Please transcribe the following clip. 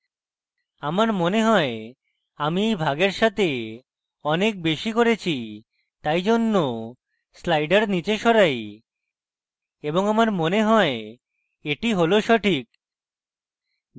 আমার মনে হয় আমি এই ভাগের সাথে অনেক বেশী করেছি তাই জন্য slider নীচে সরাই এবং আমার মনে হয় এটি সঠিক